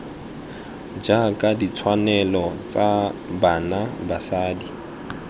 jaaka ditshwanelo tsa bana basadi